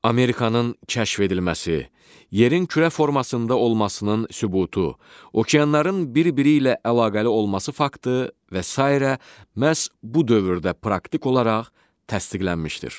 Amerikanın kəşf edilməsi, yerin kürə formasında olmasının sübutu, okeanların bir-biri ilə əlaqəli olması faktı və sairə məhz bu dövrdə praktik olaraq təsdiqlənmişdir.